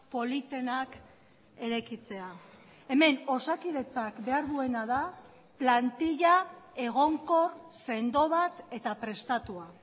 politenak eraikitzea hemen osakidetzak behar duena da plantilla egonkor sendo bat eta prestatua